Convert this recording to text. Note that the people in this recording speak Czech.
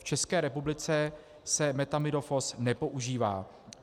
V České republice se methamidofos nepoužívá.